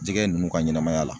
Jɛgɛ ninnu ka ɲɛnɛmaya la